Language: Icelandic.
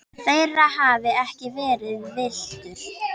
þeirra hafi ekki verið virtur.